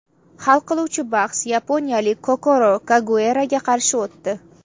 Hal qiluvchi bahs yaponiyalik Kokoro Kageuraga qarshi o‘tdi.